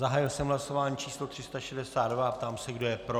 Zahájil jsem hlasování číslo 362 a ptám se, kdo je pro.